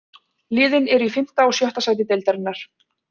Liðin eru í fimmta og sjötta sæti deildarinnar.